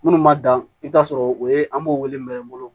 Minnu ma dan i bɛ t'a sɔrɔ o ye an b'o wele mina n bolo